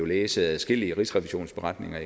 læse adskillige rigsrevisionsberetninger